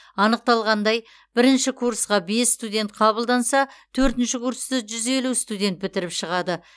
анықталғандай бірінші курсқа бес студент қабылданса төртінші курсты жүз елу студент бітіріп шығады